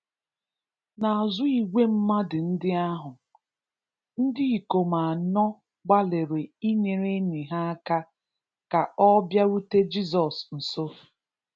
N'azụ igwe mmadụ ndị ahụ, ndị ikom anọ gbalịrị inyere enyi ha aka ka ọ bịarute Jizọs nso.